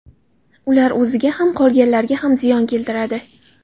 Ular o‘ziga ham qolganlarga ham ziyon keltiradi.